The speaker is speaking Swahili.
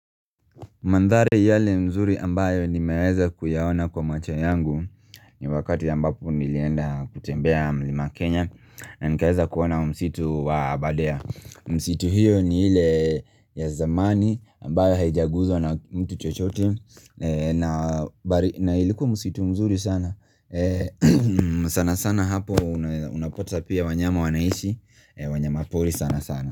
Mandhari yale nzuri ambayo nimeweza kuyaona kwa macho yangu ni wakati ambapo nilienda kutembea mlima Kenya na nikaweza kuona msitu wa abadea msitu hiyo ni ile ya zamani ambayo haijaguzwa na kitu chochote, na na ilikuwa msitu mzuri sana. Sana sana hapo unapata pia wanyama wanaishi wanyama pori sana sana.